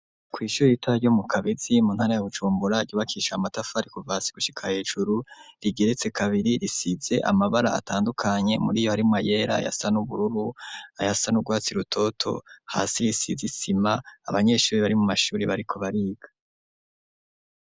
Kw' ishuri ritoya ryo mu Kabizi mu ntara ya Bujumbura, ryubakishije amatafari kuva hasi gushika hejuru, rigeretse kabiri, risize amabara atandukanye muriyo harimwo amabara yera, ayasa n' ubururu, ayasa n'urwatsi rutoto, hasi risize isima, abanyeshuri bari mu mashuri bariko bariga.